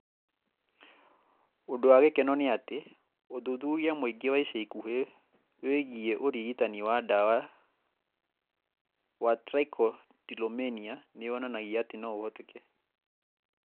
Ũndũ wa gĩkeno nĩ atĩ, ũthuthuria mũingĩ wa ica ikuhĩ wĩgiĩ ũrigitani wa ndawa wa trichotillomania nĩ wonanagia atĩ no ũhoteke.